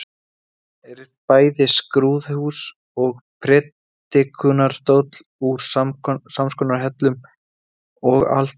Er bæði skrúðhús og prédikunarstóll úr samskonar hellum og altarið.